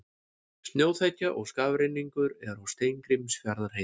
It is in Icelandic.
Snjóþekja og skafrenningur er á Steingrímsfjarðarheiði